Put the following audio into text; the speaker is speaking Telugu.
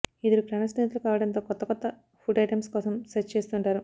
ఇద్దరు ప్రాణ స్నేహితులు కావటంతో కొత్త కొత్త ఫుడ్ ఐటమ్స్ కోసం సెర్చ్ చేస్తుంటారు